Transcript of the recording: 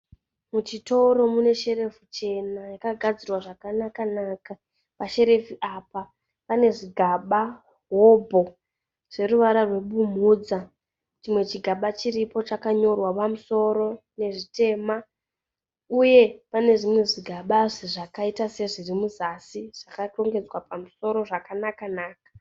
Muchitoro mune sherefu chena yakagadzirwa zvakanaka-naka. Pasherefu apa pane zvigaba hobho zveruvara rwebumhudza. Chimwe chigaba chiripo chakanyorwa pamusoro nezvitema. Uye pane zvimwe zvigabazve zvakaita sezviri muzasi zvakarongedzwa pamusoro zvakanaka-naka.